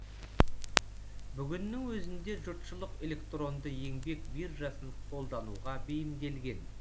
бүгіннің өзінде жұртшылық электронды еңбек биржасын қолдануға бейімделген